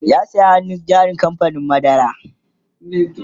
ya saya hannun jarin kamfanin madara